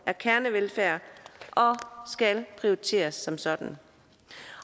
er kernevelfærd og skal prioriteres som sådan